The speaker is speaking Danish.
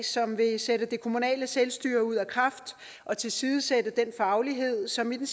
som vil sætte det kommunale selvstyre ud af kraft og tilsidesætte den faglighed som i den